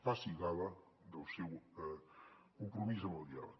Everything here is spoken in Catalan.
faci gala del seu compromís amb el diàleg